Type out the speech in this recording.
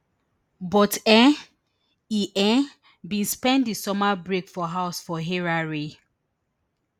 e um e um bin spend di summer break for house for harare